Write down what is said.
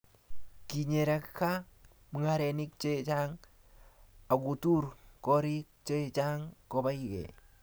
kinyeraka mung'arenik che chang' akutur koriik che chang' kobai gei